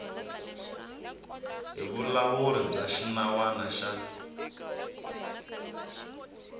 hi vulawuri bya xinawana xa